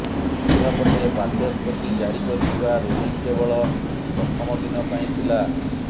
ଅନ୍ୟପଟେ ବାଚସ୍ପତି ଜାରି କରିଥିବା ରୁଲିଂ କେବଳ ପ୍ରଥମ ଦିନ ପାଇଁ ଥିଲା